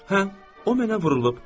Hə, o mənə vurulub.